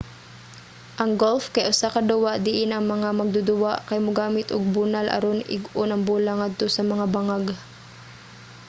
ang golf kay usa ka duwa diin ang mga magduduwa kay mogamit og bunal aron ig-on ang bola ngadto sa mga bangag